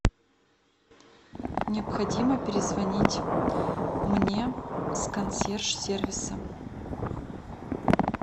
необходимо перезвонить мне с консьерж сервиса